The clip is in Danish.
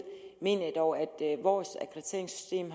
mener jeg dog at vores akkrediteringssystem